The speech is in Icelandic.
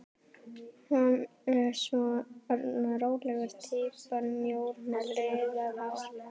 Hann er svona rólega týpan, mjór með liðað hár.